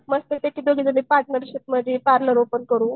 मस्तपैकी दोघी पार्टनरशिपमध्ये पार्लर ओपन करू.